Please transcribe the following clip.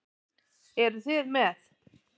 Eruð þið með?